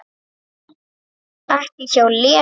Ekki hjá Lenu